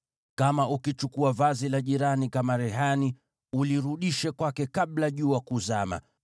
Kama ukichukua vazi la jirani kama rehani, ulirudishe kwake kabla jua kuzama,